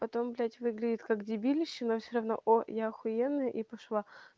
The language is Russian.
потом блять выглядит как дебилище но все равно о я ахуенный и пошла